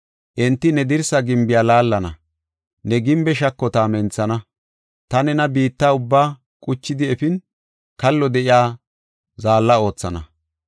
Enti ne dirsa gimbiya laallana; ne gimbe shakota menthana. Ta nena biitta ubbaa quchidi efin, kallo de7iya zaalla oothana.